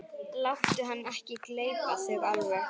Láttu hann ekki gleypa þig alveg!